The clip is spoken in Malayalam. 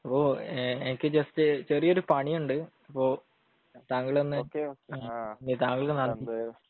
അപ്പൊ എനിക്ക് ജസ്റ്റ് ചെറിയൊരു പണി ഉണ്ട് അപ്പൊ താങ്കളൊന്ന് താങ്കളുടെ